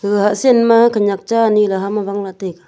gaga hah sen ma khenek cha ani ley hamla wanla taiga.